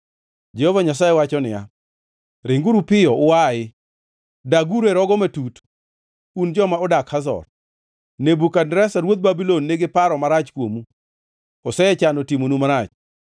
Jehova Nyasaye wacho niya, “Ringuru piyo uayi! Daguru e rogo matut, un joma odak Hazor. Nebukadneza ruodh Babulon nigi paro marach kuomu; osechano timonu marach.